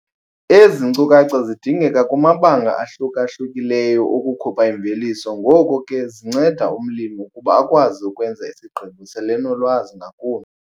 Ezi nkcukacha zidingeka kumabanga ahluka-hlukileyo okukhupha imveliso ngoko ke zinceda umlimi ukuba akwazi ukwenza isigqibo selenolwazi ngakumbi.